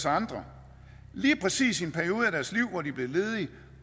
andre lige præcis i en periode af deres liv hvor de er blevet ledige